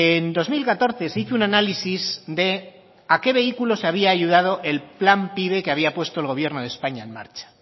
en dos mil catorce se hizo un análisis de a que vehículos se había ayudado el plan pive que había puesto el gobierno de españa en marcha